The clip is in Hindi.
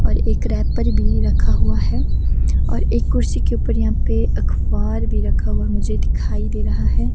और एक रैपर भी रखा हुआ है और एक कुर्सी के ऊपर यहां पे अखफार भी रखा हुआ मुझे दिखाई दे रहा है।